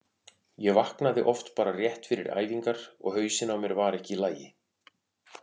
Ég vaknaði oft bara rétt fyrir æfingar og hausinn á mér var ekki í lagi.